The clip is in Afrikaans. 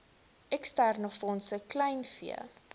eksterne fondse kleinvee